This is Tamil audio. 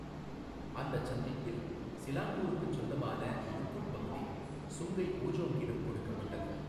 அந்தச் சந்திப்பில் சிலாங்கூருக்குச் சொந்தமான லுக்குட் பகுதி சுங்கை ஊஜோங்கிடம் கொடுக்கப்பட்டது.